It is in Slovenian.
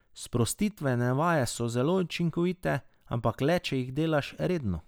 Sprostitvene vaje so zelo učinkovite, ampak le če jih delaš redno.